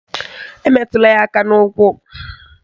Emetụla ya aka n'ukwu